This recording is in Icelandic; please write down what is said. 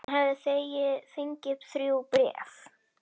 Hann hafði fengið þrjú bréf.